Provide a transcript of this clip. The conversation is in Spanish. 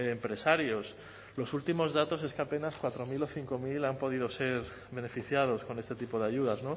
empresarios los últimos datos es que apenas cuatro mil o cinco mil han podido ser beneficiados con este tipo de ayudas